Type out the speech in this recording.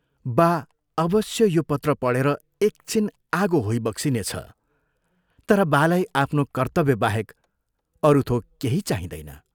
बा अवश्य यो पत्र पढेर एक छिन आगो होइबक्सिनेछ तर बालाई आफ्नो कर्तव्यबाहेक अरू थोक केही चाहिँदैन।